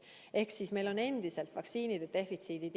Ehk siis meil on endiselt vaktsiinide defitsiit.